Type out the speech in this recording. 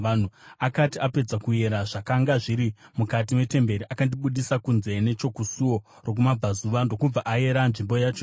Akati apedza kuyera zvakanga zviri mukati metemberi, akandibudisa kunze nechokusuo rokumabvazuva ndokubva ayera nzvimbo yacho yose.